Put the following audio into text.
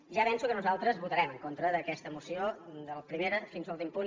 ja avenço que nosaltres votarem en contra d’aquesta moció del primer fins a l’últim punt